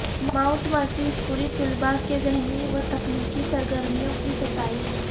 mount Mercy اسکولی طلبہ کے ذہنی وتخلیقی سرگرمیوں کی ستائش